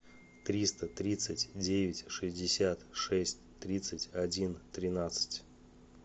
триста тридцать девять шестьдесят шесть тридцать один тринадцать